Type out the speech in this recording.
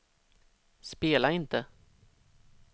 spela inte